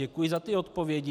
Děkuji za ty odpovědi.